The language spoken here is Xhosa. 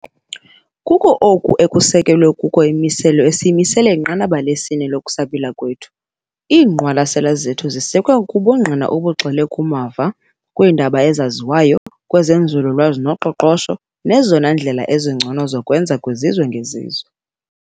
Kuko oku ekusekelwe kuko imimiselo esiyimisele inqanaba lesi-4 lokusabela kwethu. Iingqwalasela zethu zisekwe kubungqina obugxile kumava, kwiindaba ezaziwayo, kwezenzululwazi noqoqosho nezona ndlela zingcono zokwenza kwezizwe ngezizwe.